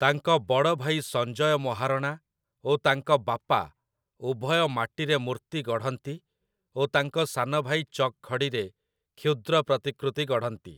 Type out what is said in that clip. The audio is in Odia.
ତାଙ୍କ ବଡ଼ଭାଇ ସଞ୍ଜୟ ମହାରଣା ଓ ତାଙ୍କ ବାପା ଉଭୟ ମାଟିରେ ମୂର୍ତ୍ତି ଗଢ଼ନ୍ତି ଓ ତାଙ୍କ ସାନଭାଇ ଚକ୍‌ଖଡ଼ିରେ କ୍ଷୁଦ୍ର ପ୍ରତିକୃତି ଗଢ଼ନ୍ତି ।